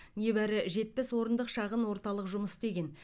небәрі жетпіс орындық шағын орталық жұмыс істеген